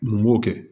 N b'o kɛ